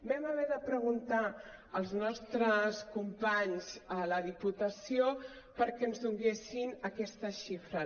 vam haver de preguntar als nostres companys a la diputació perquè ens donessin aquestes xifres